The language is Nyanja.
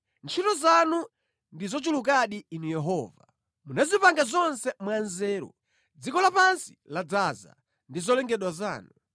Ntchito zanu ndi zochulukadi Inu Yehova! Munazipanga zonse mwanzeru, dziko lapansi ladzaza ndi zolengedwa zanu.